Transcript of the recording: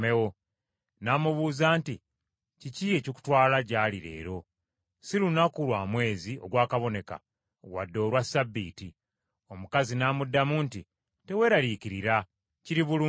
N’amubuuza nti, “Kiki ekikutwala gy’ali leero? Si lunaku lwa mwezi ogwakaboneka wadde olwa Ssabbiiti.” Omukazi n’amuddamu nti, “Teweeraliikirira, kiri bulungi.”